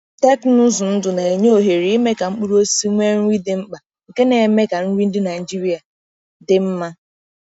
Teknụzụ ndụ na-enye ohere ime ka mkpụrụ osisi nwee nri dị mkpa, nke na-eme ka nri ndị Naijiria dị mma.